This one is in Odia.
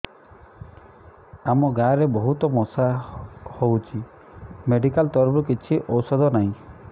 ଆମ ଗାଁ ରେ ବହୁତ ମଶା ହଉଚି ମେଡିକାଲ ତରଫରୁ କିଛି ଔଷଧ ନାହିଁ